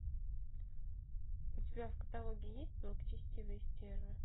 у тебя в каталоге есть благочестивые стервы